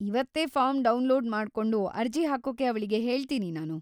ಇವತ್ತೇ form download ಮಾಡ್ಕೊಂಡು ಅರ್ಜಿ ಹಾಕೋಕೆ ಅವ್ಳಿಗೆ ಹೇಳ್ತೀನಿ ನಾನು.